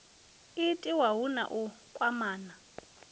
itiwa hu na u kwamana